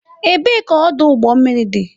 Ebee ka ọdụ ụgbọ mmiri dị?